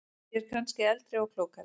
Ég er kannski eldri og klókari.